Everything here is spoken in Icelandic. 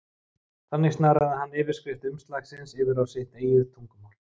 Þannig snaraði hann yfirskrift umslagsins yfir á sitt eigið tungumál.